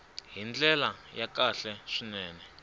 hi ndlela ya kahle swinene